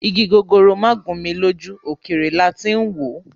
Ìgi gogoro magun mí lójú ókéré láti n wò